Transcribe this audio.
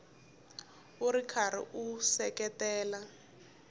u ri karhi u seketela